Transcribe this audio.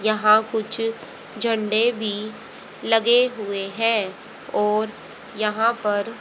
यहां कुछ झंडे भी लगे हुए है और यहां पर--